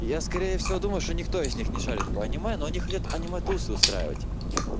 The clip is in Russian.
я скорее всего думаю что никто из них не шарит по аниме но они хотят аниме тусу устраивать